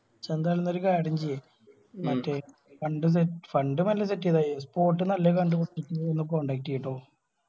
ഇജ്ജ് എന്തായാലും ഒരു കാര്യം ചെയ്യ് മറ്റേ fund set fund മെല്ലെ set എയ്‌താ മയി spot നല്ല കണ്ട് പിടിച്ചതിട്ട് ഒന്ന് contact എയ്‌യി ട്ടോ.